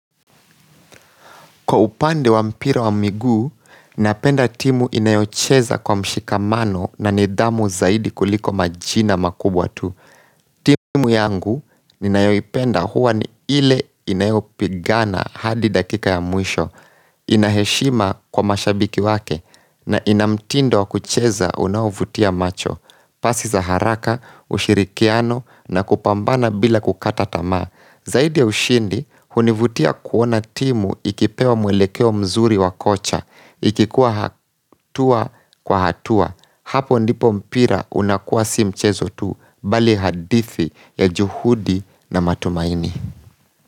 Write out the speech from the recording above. Kwa upande wa mpira wa miguu, napenda timu inayocheza kwa mshikamano na nidhamu zaidi kuliko majina makubwa tu. Timu yangu, ninayopenda huwa ni ile inayopigana hadi dakika ya mwisho, ina heshima kwa mashabiki wake, na ina mtindo wa kucheza unaovutia macho, pasi za haraka, ushirikiano, na kupambana bila kukata tama. Zaidi ya ushindi, hunivutia kuona timu ikipewa mwelekeo mzuri wa kocha, ikikuwa hatua kwa hatua. Hapo ndipo mpira unakuwa si mchezo tu, bali hadithi ya juhudi na matumaini.